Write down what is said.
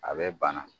A bɛ bana